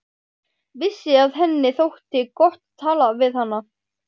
Vissi að henni þótti gott að tala við hana.